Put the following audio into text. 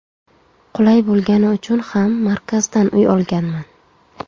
Qulay bo‘lgani uchun ham markazdan uy olganman.